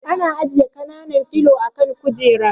Ana ajiye kanan filo a kan kujera